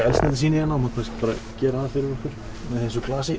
eldsneytissýni þú mátt kannski bara gera það fyrir okkur með þessu glasi